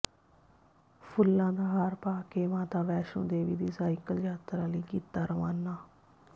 ਫੁੱਲਾਂ ਦਾ ਹਾਰ ਪਾ ਕੇ ਮਾਤਾ ਵੈਸ਼ਨੂੰ ਦੇਵੀ ਦੀ ਸਾਈਕਲ ਯਾਤਰਾ ਲਈ ਕੀਤਾ ਰਵਾਨਾ